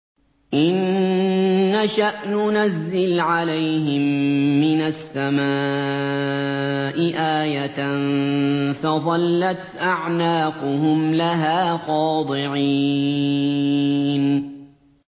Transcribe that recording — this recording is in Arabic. إِن نَّشَأْ نُنَزِّلْ عَلَيْهِم مِّنَ السَّمَاءِ آيَةً فَظَلَّتْ أَعْنَاقُهُمْ لَهَا خَاضِعِينَ